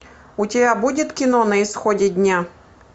у тебя будет кино на исходе дня